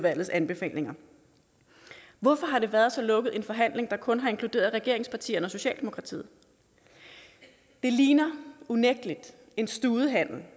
anbefalinger hvorfor har det været så lukket en forhandling der kun har inkluderet regeringspartierne og socialdemokratiet det ligner unægtelig en studehandel